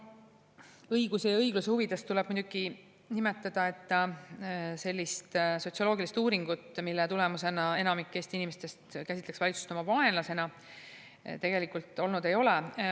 No õiguse ja õigluse huvides tuleb muidugi nimetada, et sellist sotsioloogilist uuringut, mille tulemus enamik Eesti inimestest käsitleb valitsust oma vaenlasena, tegelikult olnud ei ole.